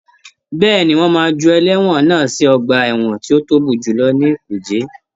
Bẹ́ẹ̀ni, wọ́n máa ju ẹlẹ́wọ̀n náà sí ọgbà ẹwọ̀n tó tóbi jù ní kùjé.